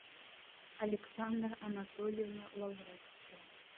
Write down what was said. александра анатольевна лавровская